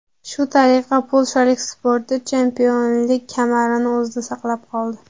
Shu tariqa polshalik sportchi chempionlik kamarini o‘zida saqlab qoldi.